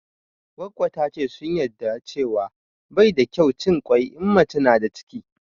Goggo ta ce sun yarda cewa bai da kyau cin kwai in mace na da ciki